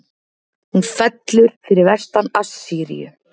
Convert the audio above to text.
Hún fellur fyrir vestan Assýríu.